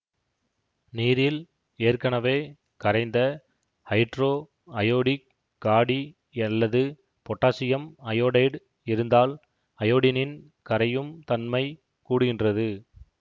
நீரில் ஏற்கனவே கரைந்த ஹைட்ரோஐயோடிக் காடியல்லது பொட்டாசியம் அயோடைடு இருந்தால் அயோடினின் கரையும் தன்மை கூடுகின்றது